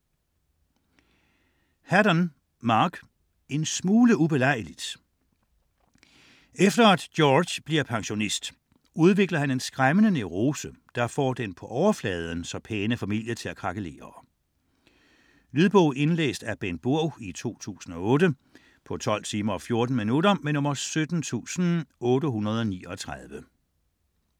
Haddon, Mark: En smule ubelejligt Efter at George bliver pensionist, udvikler han en skræmmende neurose, der får den på overfladen så pæne familie til at krakelere. Lydbog 17839 Indlæst af Bengt Burg, 2008. Spilletid: 12 timer, 14 minutter.